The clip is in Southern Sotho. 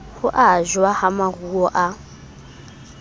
ho ajwa ha maruo a